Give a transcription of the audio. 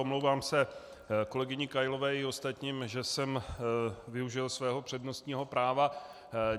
Omlouvám se kolegyni Kailové i ostatním, že jsem využil svého přednostního práva.